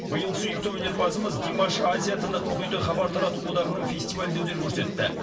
биыл сүйікті өнерпазымыз димаш азия тынық мұхиты хабар тарату одағының фестивалінде өнер көрсетті